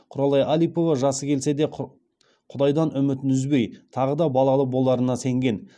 құралай алипова жасы келсе де құдайдан үмітін үзбей тағы да балалы боларына сенген